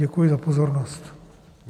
Děkuji za pozornost.